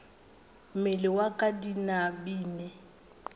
mmele wa ka di binabine